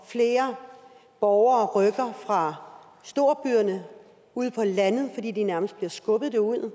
flere borgere rykker fra storbyerne ud på landet fordi de nærmest bliver skubbet derud